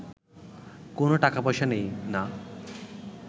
কোনো টাকা-পয়সা নেই না